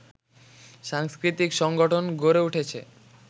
সাংস্কৃতিক সংগঠন গড়ে উঠেছে